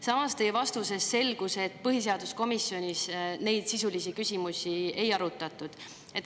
Samas, teie vastusest selgus, et põhiseaduskomisjonis neid sisulisi küsimusi ei arutatud.